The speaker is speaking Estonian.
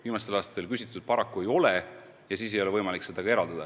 Viimastel aastatel paraku küsitud ei ole ja siis ei ole võimalik seda ka eraldada.